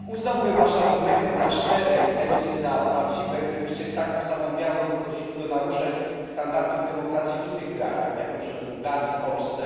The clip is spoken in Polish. Uznałbym wasze argumenty za szczere i intencje za prawdziwe, gdybyście z taką samą miarą podchodzili do naruszeń standardów demokracji w innych krajach, jak np. w Bułgarii, Polsce.